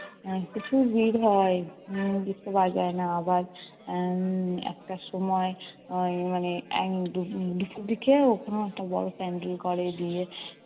এর প্রচুর ভিড় হয় ঢুকতে পারা যায় না। আবার উম একটার সময় উম মানে এর দুপুর দিকে ওখানেও একটা বড় pandal করে বিয়ের।